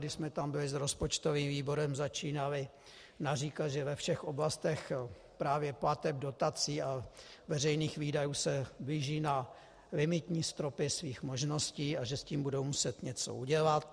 Když jsme tam byli s rozpočtovým výborem, začínali naříkat, že ve všech oblastech právě plateb, dotací a veřejných výdajů se blíží na limitní stropy svých možností a že s tím budou muset něco udělat.